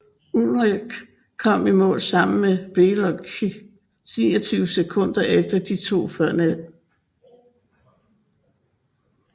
Ullrich kom i mål sammen med Beloki 29 sekunder efter de to førnævnte